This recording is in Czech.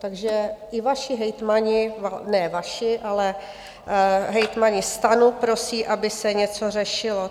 Takže i vaši hejtmani - ne vaši, ale hejtmani STANu - prosí, aby se něco řešilo.